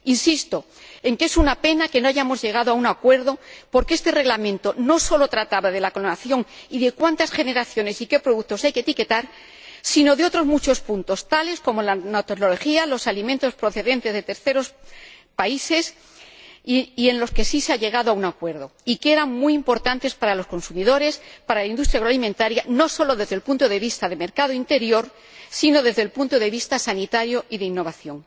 Insisto en que es una pena que no hayamos llegado a un acuerdo, porque este Reglamento no solamente trataba de la clonación y de cuántas generaciones y qué productos hay que etiquetar, sino de otros muchos puntos —tales como la nanotecnología o los alimentos procedentes de terceros países—, en los que sí se ha llegado a un acuerdo y que eran muy importantes para los consumidores y para la industria agroalimentaria, no solo desde el punto de vista del mercado interior, sino desde el punto de vista sanitario y de la innovación.